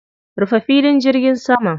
Rufe filin jirgin saman.